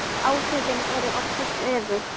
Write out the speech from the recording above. Áhrifin eru oftast öfug.